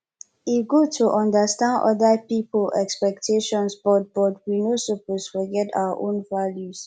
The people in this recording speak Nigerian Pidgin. e good to understand oda pipo expectations but but we no suppose forget our own values